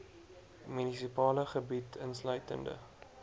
munisipale gebied insluitende